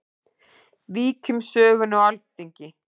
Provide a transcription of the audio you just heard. Víkjum sögunni á Alþingi.